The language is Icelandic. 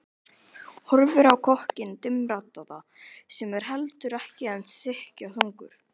Horfir á kokkinn dimmraddaða sem er heldur en ekki þykkjuþungur.